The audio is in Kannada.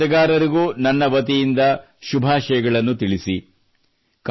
ನಿಮ್ಮ ಜತೆಗಾರರಿಗೂ ನನ್ನ ವತಿಯಿಂದ ಶುಭಾಶಗಳನ್ನು ತಿಳಿಸಿ